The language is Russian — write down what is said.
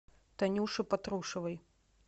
танюше патрушевой